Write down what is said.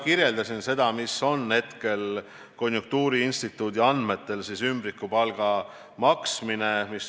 Ma selgitasin, kui levinud on konjunktuuriinstituudi andmetel ümbrikupalga maksmine.